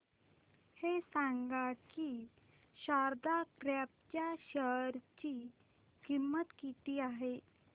हे सांगा की शारदा क्रॉप च्या शेअर ची किंमत किती आहे